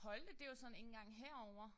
Holte det jo sådan ikke engang herovre